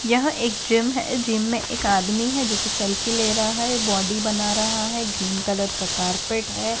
यह एक जिम है इस जिम में एक आदमी है जो की सेल्फी ले रहा है बॉडी बना रहा है ग्रीन कलर का कार्पेट है।